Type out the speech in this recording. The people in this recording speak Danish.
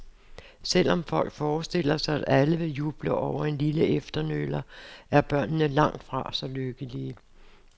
Selv om folk forestiller sig, at alle vil juble over en lille efternøler, er børnene langtfra så lykkelige.